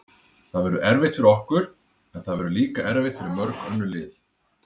Það verður erfitt fyrir okkur, en það verður líka erfitt fyrir mörg önnur lið.